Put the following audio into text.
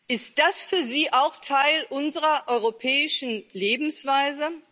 Ist das für Sie auch Teil unserer europäischen Lebensweise?